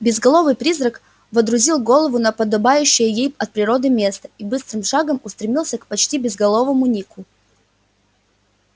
безголовый призрак водрузил голову на подобающее ей от природы место и быстрым шагом устремился к почти безголовому нику